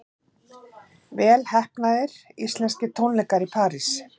Vel heppnaðir íslenskir tónleikar í París